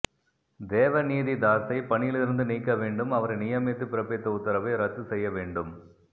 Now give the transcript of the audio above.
தேவநீதி தாசை பணியிலிருந்து நீக்கவேண்டும் அவரை நியமித்து பிறப்பித்த உத்தரவை ரத்து செய்ய வேண்டும்